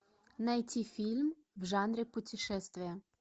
найти фильм в жанре путешествия